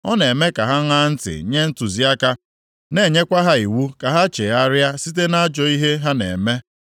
Ọ na-eme ka ha ṅaa ntị nye ntụziaka, na-enyekwa ha iwu ka ha chegharịa site nʼajọ ihe ha na-eme.